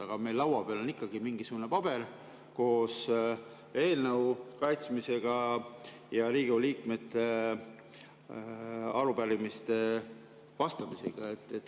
Aga meil laua peal on ikkagi mingisugune paber koos eelnõu kaitsmisega ja Riigikogu liikmete arupärimistele vastamisega.